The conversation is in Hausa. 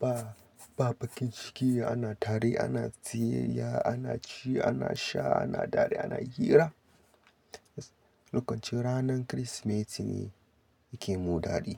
ba, ba bakin ciki ana tare ana ziyyaya, ana ci, ana sha, ana daɗi, ana hira. Lokacin ranan Kirsimeti ne yake mun daɗi.